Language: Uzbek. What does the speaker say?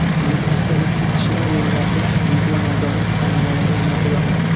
Nukusdagi kesishma yo‘llarga videonazorat kameralari o‘rnatiladi.